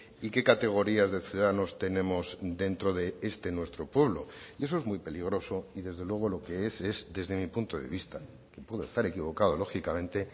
y qué categorías de ciudadanos tenemos dentro de este nuestro pueblo y eso es muy peligroso y desde luego lo que es desde mi punto de vista que puedo estar equivocado lógicamente